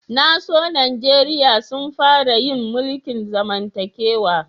Na so Nijeriya sun fara yin mulki'n zamantakewa.